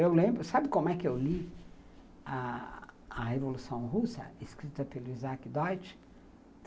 Eu lembro, sabe como é que eu li a Revolução Russa, escrita pelo Isaac Deutsch?